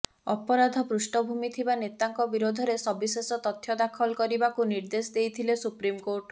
ଅପରାଧ ପୃଷ୍ଠଭୂମି ଥିବା ନେତାଙ୍କ ବିରୋଧରେ ସବିଶେଷ ତଥ୍ୟ ଦାଖଲ କରିବାକୁ ନିର୍ଦ୍ଦେଶ ଦେଇଥିଲେ ସୁପ୍ରିମକୋର୍ଟ